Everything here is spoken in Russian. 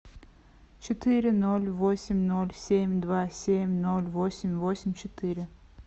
четыре ноль восемь ноль семь два семь ноль восемь восемь четыре